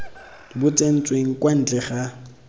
bo tsentsweng kwa ntle ga